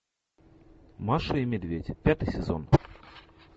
маша и медведь пятый сезон